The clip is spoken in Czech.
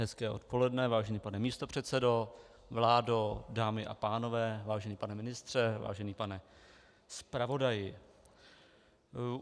Hezké odpoledne, vážený pane místopředsedo, vládo, dámy a pánové, vážený pane ministře, vážený pane zpravodaji.